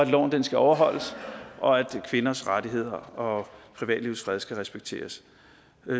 loven skal overholdes og at kvinders rettigheder og privatlivets fred skal respekteres